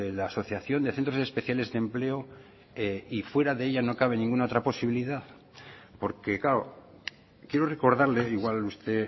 la asociación de centros especiales de empleo y fuera de ella no cabe ninguna otra posibilidad porque claro quiero recordarle igual usted